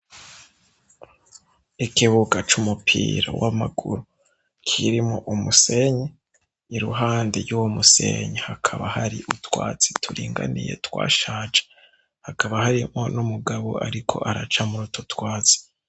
Ikibuga c'umupira w'amaguru kirimwo umusenyi. Iruhande y'uwo musenyi hakaba hari utwatsi turinganiye twashaje. Hakaba harimwo n'umugabo ariko araca mur'utwo twatsi.